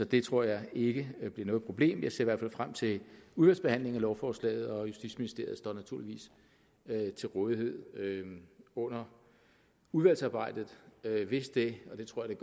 det tror jeg ikke bliver noget problem jeg ser derfor frem til udvalgsbehandlingen af lovforslaget og justitsministeriet står naturligvis til rådighed under udvalgsarbejdet hvis det og det tror jeg